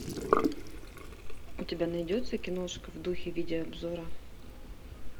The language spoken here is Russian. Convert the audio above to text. у тебя найдется киношка в духе видеообзора